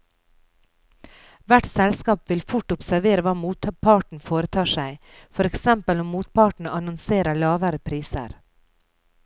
Hvert selskap vil fort observere hva motparten foretar seg, for eksempel om motparten annonserer lavere priser.